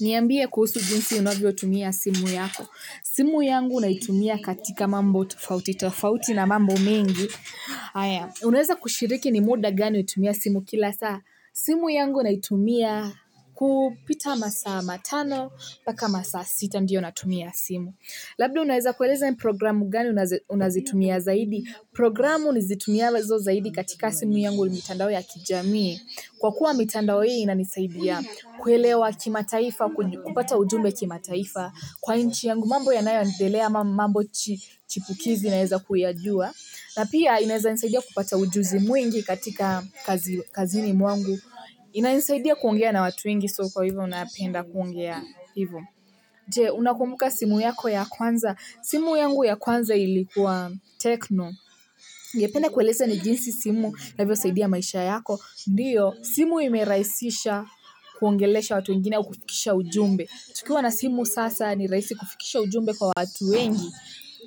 Niambie kuhusu jinsi unavyo tumia simu yako. Simu yangu naitumia katika mambo tofautitafauti na mambo mengi, haya. Unaweza kushiriki ni muda gani hutumia simu kila saa? Simu yangu naitumia, kupita masaa matano, mpaka masaa sita ndiyo natumia simu. Labda unaweza kueleza programu gani unazi unazitumia zaidi? Programu nizitumialazo zaidi katika simu yangu ni mitandao ya kijamii. Kwa kuwa mitandao hii inanisaidia, kuelewa kimataifa kuju kupata ujumbe kimataifa. Kwa inchi yangu mambo yanayoendelea ma mambo chi chipukizi naweza kuyajua. Na pia inaweza nisaidia kupata ujuzi mwingi katika kazi kazini mwangu. Inaenisaidia kuongea na watu wengi so kwahivyo napenda kuongea hivyo. Je! Unakumbuka simu yako ya kwanza? Simu yangu ya kwanza ilikua, Tecno. Nilipenda kuelezea ni jinsi simu, inavyosaidia maisha yako. Ndio, simu imerahisisha, kuongelesha watu wengine au kufikisha ujumbe. Kuwa na simu sasa ni rahisi kufikisha ujumbe kwa watu wengi.